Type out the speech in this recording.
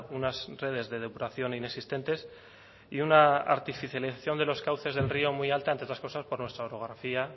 unas redes de depuración inexistentes y una artificialización de los cauces del río muy alta entre otras cosas por nuestra orografía